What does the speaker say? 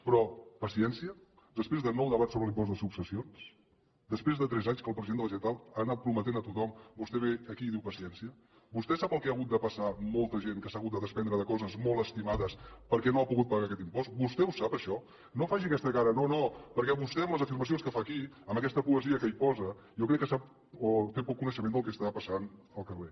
però paciència després de nou debats sobre l’impost de successions després de tres anys que el president de la generalitat ho ha anat prometent a tothom vostè ve aquí i diu paciència vostè sap el que ha hagut de passar molta gent que s’ha hagut de desprendre de coses molt estimades perquè no ha pogut pagar aquest impost vostè ho sap això no faci aquesta cara no no perquè vostè amb les afirmacions que fa aquí amb aquesta poesia que hi posa jo crec que té poc coneixement del que està passant al carrer